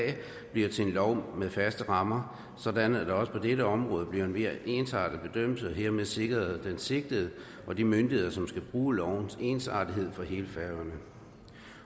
bliver til en lov med faste rammer og sådan at der også på dette område bliver en mere ensartet bedømmelse og hermed sikkerhed for den sigtede og de myndigheder som skal bruge lovens ensartethed for hele færøerne